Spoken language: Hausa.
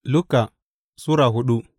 Luka Sura hudu